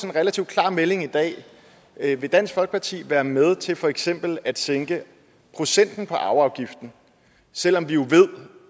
en relativt klar melding i dag vil dansk folkeparti være med til for eksempel at sænke procenten på arveafgiften selv om vi jo ved